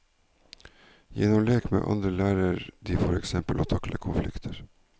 Gjennom lek med andre lærer de for eksempel å takle konflikter.